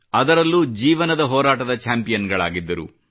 ಅದರಲ್ಲೂ ಜೀವನದ ಹೋರಾಟದ ಚಾಂಪಿಯನ್ ಗಳಾಗಿದ್ದರು